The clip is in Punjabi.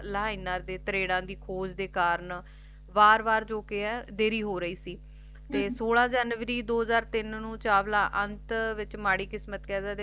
ਲਹਿਣਾ ਦੇ ਤਰੇੜਾਂ ਦੀ ਖੋਜ ਦੇ ਕਾਰਨ ਵਾਰ ਵਾਰ ਜੌ ਦੇਰੀ ਹੋ ਰਹੀ ਸੀ ਤੇ ਸੋਲਹ ਜਨਵਰੀ ਦੋ ਹਜਾਰ ਤੀਨ ਨੂੰ ਚਾਵਲਾ ਅੰਤ ਵਿੱਚ ਮਾੜੀ ਕਿਸਮਤ ਕਹਿ ਸਕਦੇ ਆ